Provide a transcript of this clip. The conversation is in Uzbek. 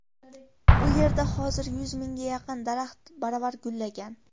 U yerda hozir yuz mingga yaqin daraxt baravar gullagan.